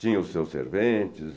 Tinha os seus serventes e...